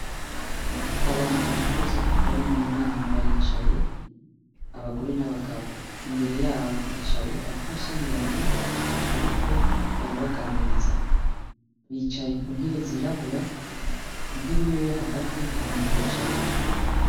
Abantu bakuze bari munama baricaye ,abagore nabagabo, imbere yaho hari abapfasoni babiri bariko barabaganiriza bicaye kuntebe zirabura intebe imwe yo Hagati ntamuntu ayicayeho.